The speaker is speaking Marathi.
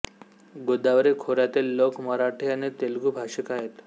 गोदावरी खोऱ्यातील लोक मराठी आणि तेलुगू भाषिक आहेत